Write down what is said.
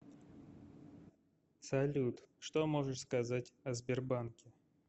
салют что можешь сказать о сбербанке